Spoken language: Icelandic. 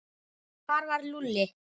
Hvar var Lúlli?